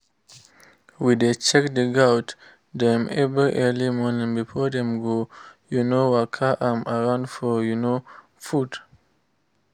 we dey check the goat dem every early morning before dem go um waka um around for um food